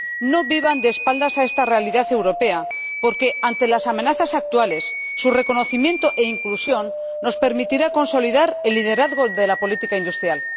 No vivan de espaldas a esta realidad europea, porque, ante las amenazas actuales, su reconocimiento e inclusión nos permitirá consolidar el liderazgo de la política industrial.